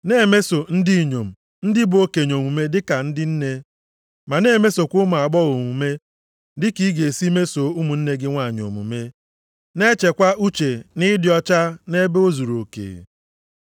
Na-emeso ndị inyom ndị bụ okenye omume dị ka ndị nne, ma na-emesokwa ụmụ agbọghọ omume dị ka ị ga-esi mesoo ụmụnne gị nwanyị omume. Na-echekwa uche nʼịdị ọcha nʼebe o zuruoke.